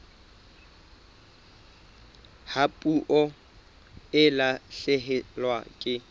ha puo e lahlehelwa ke